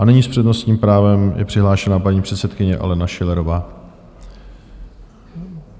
A nyní s přednostním právem je přihlášena paní předsedkyně Alena Schillerová.